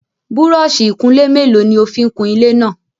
Búrọ́ọ̀ṣì ìkunlé mélòó ni o fi ń kun ilé náà?